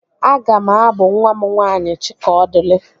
Aga m abụ nwa m nwaanyị Chikaọdịrị